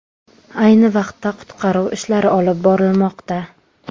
Ayni vaqtda qutqaruv ishlari olib borilmoqda.